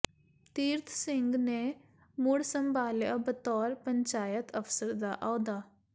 ਤੀਰਥ ਸਿੰਘ ਨੇ ਮੁੜ ਸੰਭਾਲਿਆ ਬਤੌਰ ਪੰਚਾਇਤ ਅਫ਼ਸਰ ਦਾ ਅਹੁਦਾ